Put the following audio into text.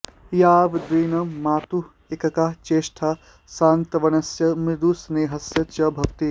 यावद्दिनं मातुः एकैका चेष्टा सान्त्वनस्य मृदुस्नेहस्य च भवति